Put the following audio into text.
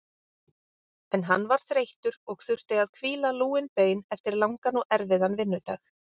En hann var þreyttur og þurfti að hvíla lúin bein eftir langan og erfiðan vinnudag.